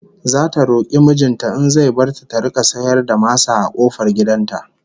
Zata roki mijin ta in zai bar ta ta rika sayar da masa a kofar gidan ta